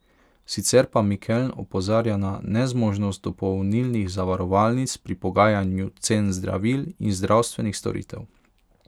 Sicer pa Mikeln opozarja na nezmožnost dopolnilnih zavarovalnic pri pogajanju cen zdravil in zdravstvenih storitev.